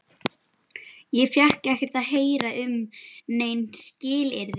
Ég fékk ekkert að heyra um nein skilyrði.